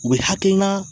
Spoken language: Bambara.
U bɛ hakilina